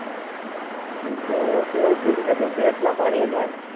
તો એવું જ છે કે તું ભેષ નાં પાણી એ નાય.